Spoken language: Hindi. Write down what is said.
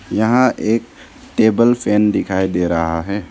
यहां एक टेबल फैन दिखाई दे रहा है।